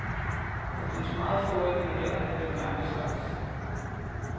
Der findes meget få originaler af den gamle slags.